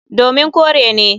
Domin kore ne.